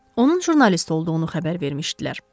Onun jurnalist olduğunu xəbər vermişdilər.